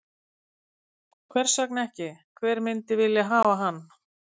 Hvers vegna ekki, hver myndi ekki vilja hafa hann?